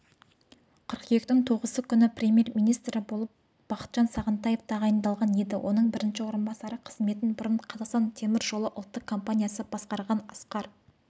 қыркүйектің тоғызы күні премьер-министрі болып бақытжан сағынтаев тағайындалған еді оның бірінші орынбасары қызметін бұрын қазақстан темір жолы ұлттық компаниясы басқарған асқар